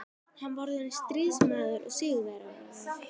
Hann var orðinn stríðsmaður og sigurvegari.